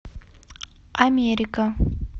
америка